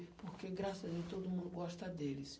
Porque, graças a Deus, todo mundo gosta deles.